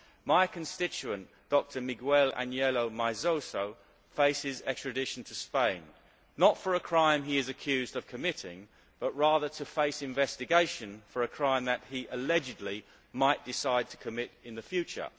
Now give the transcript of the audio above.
My constituent, Dr Miguel Ángel Meizoso, faces extradition to Spain, not for a crime he is accused of committing, but rather to face investigation for a crime that he, allegedly, might decide to commit in the future.